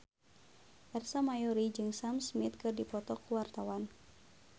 Ersa Mayori jeung Sam Smith keur dipoto ku wartawan